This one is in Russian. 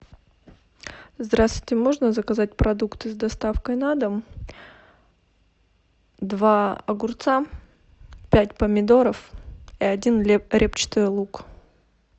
здравствуйте можно заказать продукты с доставкой на дом два огурца пять помидоров и один репчатый лук